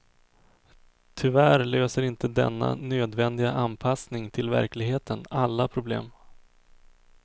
Tyvärr löser inte denna nödvändiga anpassning till verkligheten alla problem.